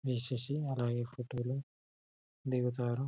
వేస్ససి అలాగే ఫోటో లు దిగుతారు.